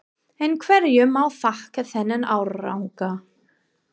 En hverju má þakka þennan árangur?